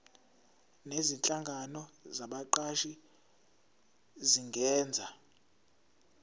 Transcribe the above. nezinhlangano zabaqashi zingenza